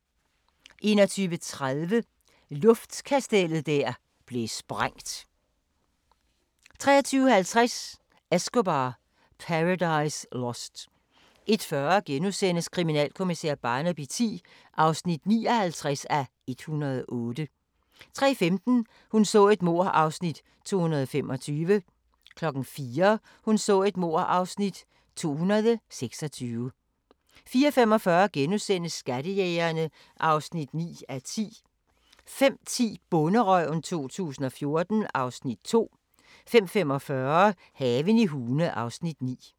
21:30: Luftkastellet der blev sprængt 23:50: Escobar: Paradise Lost 01:40: Kriminalkommissær Barnaby X (59:108)* 03:15: Hun så et mord (Afs. 225) 04:00: Hun så et mord (Afs. 226) 04:45: Skattejægerne (9:10)* 05:10: Bonderøven 2014 (Afs. 2) 05:45: Haven i Hune (Afs. 9)